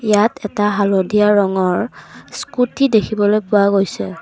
ইয়াত এটা হালধীয়া ৰঙৰ স্কুটী দেখিবলৈ পোৱা গৈছে।